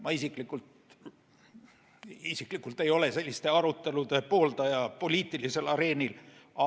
Ma isiklikult selliseid arutelusid poliitilisel areenil ei poolda.